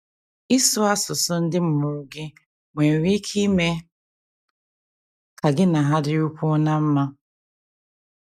Ịsụ asụsụ ndị mụrụ gị nwere ike ime ka gị na ha dịrịkwuo ná mma